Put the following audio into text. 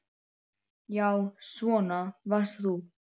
Já, svona varst þú.